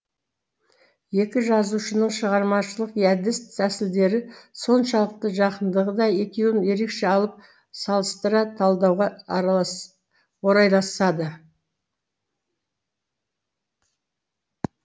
екі жазушының шығармашылық әдіс тәсілдері соншалықты жақындығы да екеуін ерекше алып салыстыра талдауға орайласады